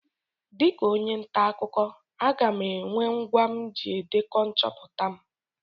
Dịka onye nta akụkọ, aga m enwe ngwa m ji edekọ nchọpụta m.